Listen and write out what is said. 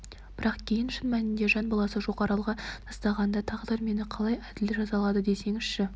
бірақ кейін шын мәнінде жан баласы жоқ аралға тастағанда тағдыр мені қалай әділ жазалады десеңізші